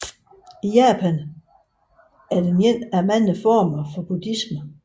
I Japan er den en af de mange former for buddhisme